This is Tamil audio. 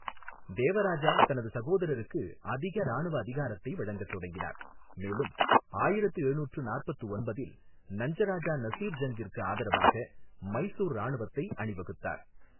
தேவராஜா தனது சகோதரருக்கு அதிக இராணுவ அதிகாரத்தை வழங்கத் தொடங்கினார், மேலும் ஆயிரத்து எழுநூற்று நாற்பத்து ஒன்பதில் நஞ்சராஜா நசீர் ஜங்கிற்கு ஆதரவாக மைசூர் இராணுவத்தை அணிவகுத்தார்.